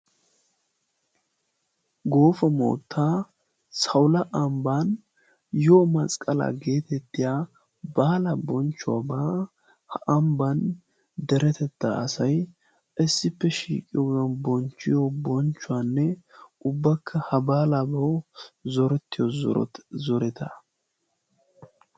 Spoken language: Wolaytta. goofa moottaa saula ambban yyo masqqala geetettiya baala bonchchuwaabaa ha ambban deretetta asai issippe shiiqiyoo bonchchiyo bonchchuwaanne ubbakka ha baalaabau zorettiyo zoreta